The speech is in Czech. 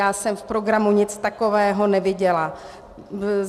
Já jsem v programu nic takového neviděla.